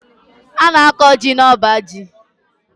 A na- akọ jị na ọbá jị.